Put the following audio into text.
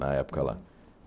Na época lá.